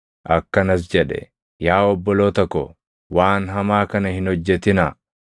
Akkanas jedhe; “Yaa obboloota ko, waan hamaa kana hin hojjetinaa!